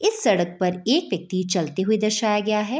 इस सड़क पर एक व्यक्ति चलते हुए दर्शाया गया है।